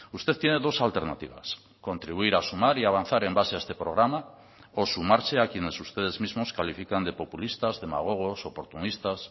usted tiene dos alternativas contribuir a sumar y a avanzar en base a este programa o sumarse a quienes ustedes mismos califican de populistas demagogos oportunistas